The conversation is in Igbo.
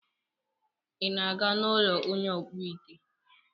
Ị na-aga n'ụlọ onye ọkpụite?